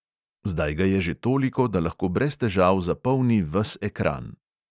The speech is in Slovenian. Zdaj ga je že toliko, da lahko brez težav zapolni ves ekran!